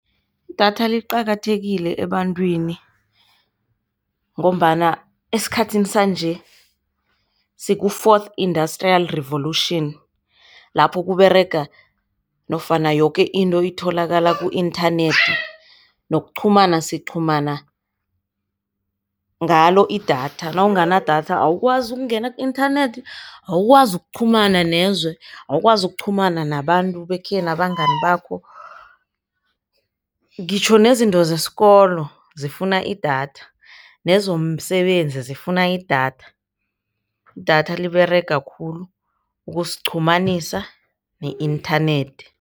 Idatha liqakathekile ebantwini ngombana esikhathini sanje siku-fourth industrial revolution lapho kuberega nofana yoke into itholakala ku-inthanethi, nokuqhumana siqhumana ngalo idatha. Nawunganadatha awukwazi ukungena ku-inthanethi. Awukwazi ukuqhumana nezwe. Awukwazi ukuqhumana nabantu bakhenu, abangani bakho. Ngitjho nezinto zesikolo zifuna idatha nezomsebenzi zifuna idatha. Idatha liberega khulu ukusiqhumanisa ne-inthanethi.